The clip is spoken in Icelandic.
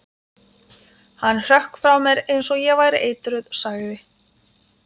Hann hrökk frá mér eins og ég væri eitruð sagði